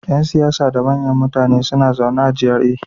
Yan siyasa da manyan mutane suna zaune a GRA.